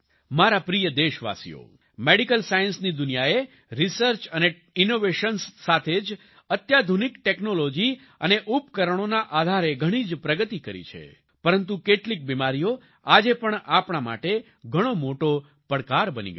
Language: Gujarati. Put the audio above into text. મારા પ્રિય દેશવાસીઓ મેડિકલ સાયન્સની દુનિયાએ રિસર્ચ અને ઈનોવેશન્સ સાથે જ અત્યાધુનિક ટેક્નોલોજી અને ઉપકરણોના આધારે ઘણી જ પ્રગતિ કરી છે પરંતુ કેટલીક બિમારીઓ આજે પણ આપણા માટે ઘણો મોટો પડકાર બની ગઈ છે